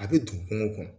A bɛ don kungo kɔnɔ